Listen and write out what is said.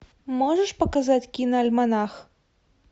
можешь показать киноальманах